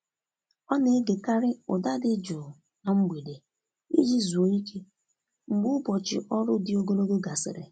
Ọ na-egekarị ụda dị jụụ na mgbede iji zuoo ike, mgbe ụbọchị ọrụ dị ogologo gasịrị.